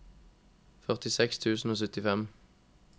førtiseks tusen og syttifem